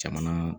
Jamana